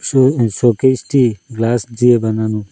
পুরো এই শোকেশটি গ্লাস দিয়ে বানানো।